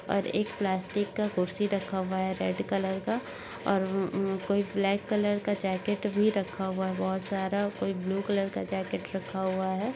और एक प्लास्टिक का कुर्सी रखा हुआ है रेड कलर का और हम्म उम्म कोई ब्लैक कलर का जैकेट भी रखा हुआ हैं बोहोत सारा। कोई ब्लू कलर का जैकेट रखा हुआ है।